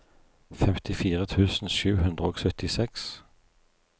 femtifire tusen sju hundre og syttiseks